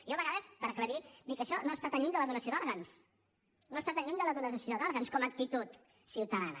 jo a vegades per aclarir dic això no està tan lluny de la donació d’òrgans no està tan lluny de la donació d’òrgans com a actitud ciutadana